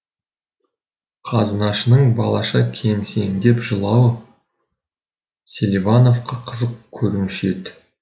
қазынашының балаша кемсеңдеп жылауы селивановқа қызық көрінуші еді